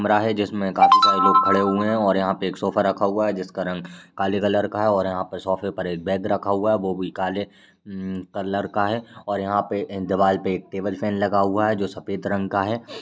कमरा है जिसमे काफी सारे लोग खड़े हुए हैं और यहाँ पे एक सोफा रखा हुआ है जिसका रंग काले कलर का है और यहाँ पर सोफे पर एक बैग रखा हुआ है वो भी काले म्म कलर का है और यहाँ पे दीवाल पे एक टेबल फैन लगा हुआ है जो सफ़ेद रंग का है।